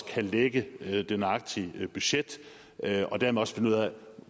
kan lægge det nøjagtige budget og dermed også finde ud af